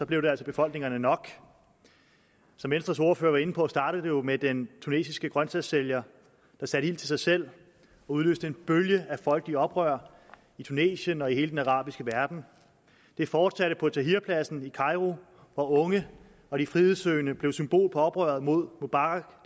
blev det altså befolkningerne nok som venstres ordfører var inde på startede det jo med den tunesiske grøntsagssælger der satte ild til sig selv og udløste en bølge af folkelige oprør i tunesien og i hele den arabiske verden det fortsatte på tahrirpladsen i kairo hvor unge og de frihedssøgende blev symbol på oprøret mod mubaraks